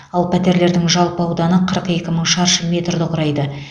ал пәтерлердің жалпы ауданы қырық екі мың шаршы метрді құрайды